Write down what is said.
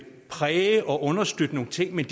præge og understøtte nogle ting men